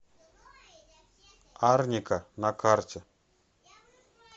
арника на карте